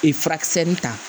Ee furakisɛ ni ta